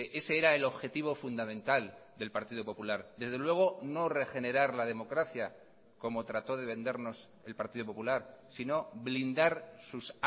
ese era el objetivo fundamental del partido popular desde luego no regenerar la democracia como trató de vendernos el partido popular sino blindar sus